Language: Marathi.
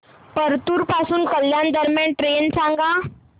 परतूर पासून कल्याण दरम्यान ट्रेन सांगा